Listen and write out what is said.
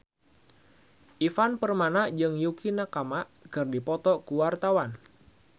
Ivan Permana jeung Yukie Nakama keur dipoto ku wartawan